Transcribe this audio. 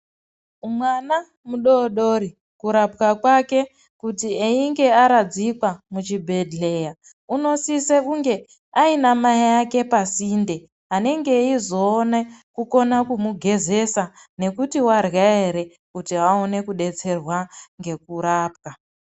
Mwana mudodori kurapwa kwake kuti einge aradzikwa muchibhedhleya unosise kunge aina mai ake pasinde anenge eizoone kukone kumugezesa nekuti warya ere kuti aone kudetserwa ngekurapwa.